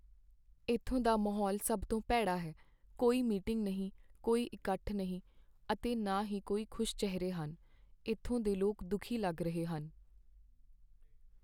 ਇੱਥੋਂ ਦਾ ਮਾਹੌਲ ਸਭ ਤੋਂ ਭੈੜਾ ਹੈ, ਕੋਈ ਮੀਟਿੰਗ ਨਹੀਂ, ਕੋਈ ਇਕੱਠ ਨਹੀਂ ਅਤੇ ਨਾ ਹੀ ਕੋਈ ਖੁਸ਼ ਚਿਹਰੇ ਹਨ। ਇੱਥੋਂ ਦੇ ਲੋਕ ਦੁਖੀ ਲੱਗ ਰਹੇ ਹਨ।